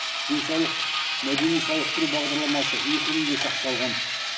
денсаулық мәдени сауықтыру бағдарламасы екі күнге шақталған